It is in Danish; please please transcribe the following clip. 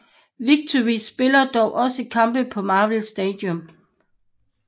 Victory spiller dog også kampe på Marvel Stadium